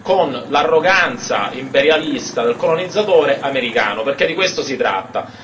con l'arroganza imperialista del colonizzatore americano, perché di questo si tratta.